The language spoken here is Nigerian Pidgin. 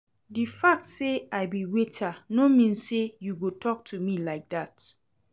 The fact say I be waiter no mean say you go talk to me like dat